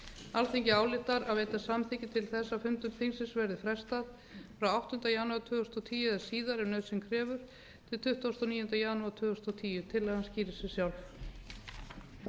alþingi ályktar að veita samþykki til þess að fundum þingsins verði frestað frá áttunda janúar tvö þúsund og tíu eða síðar ef nauðsyn krefur til tuttugasta og níunda janúar tvö þúsund og tíu tillagan skýrir sig sjálf